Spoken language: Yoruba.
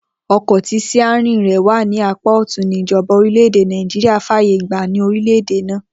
O̩kò̩ tí s̩íárìn rè̩ wà ní apá ò̩tún ní ìjo̩ba orílè̩-èdè Nàìjíríà fàyè gba ní orílè̩ èdè náà